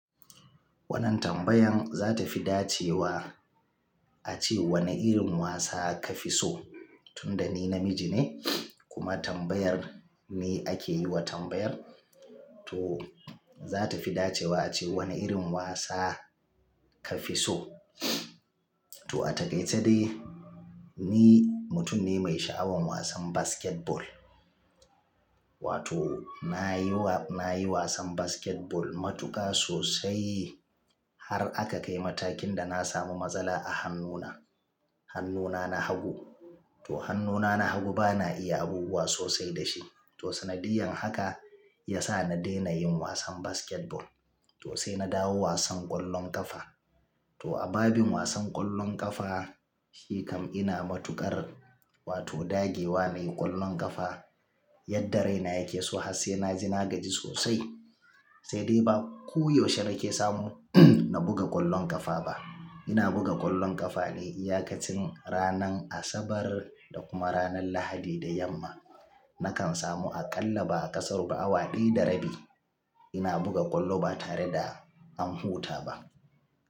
Wannan tambayan za ta fi dacewa a ce wane irin wasa ka fi so? Tunda ni namiji ne kuma tambayar ne ake yi wa tambayar, to za ta fi dacewa a ce wane irin wasa ka fi so? To a takaice dai ni mutum ne mai sha'awan wasan basketball. Wato na yi wasan basketball matuƙa sosai har aka kai matakin da na samu matsala a hannuna. Hannuna na hagu. To hannuna na hagu bana iya abubuwa sosai da shi. To sanadiyan haka ya sa na daina yin wasan basketball. To sai na dawo wasan ƙwallon ƙafa. To a babin wasan ƙwallon ƙafa shi kam ina matuƙar, wato dagewa na yi ƙwallon ƙafa yadda raina yake so. Har sena ji nagaji sosai. Sai dai ba ko yaushe nake samu na buga ƙwallon ƙafa ba. Ina buga ƙwallon ƙafa ne iyaƙacin ranan Asabar da kuma ranan Lahadi da yamma. Nakan samu aƙalla ba a ƙasaru ba awa ɗaya da rabi. Ina buga ƙwallo ba tare da an huta ba.